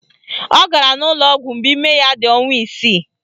Ọ gara n'ụlọọgwụ mgbe ime ya dị ọnwa isii